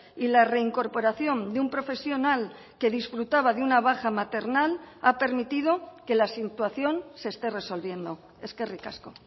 y la reincorporación de un profesional que disfrutaba de una baja maternal ha permitido que la situación se esté resolviendo eskerrik asko